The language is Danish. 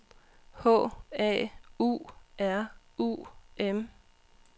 H A U R U M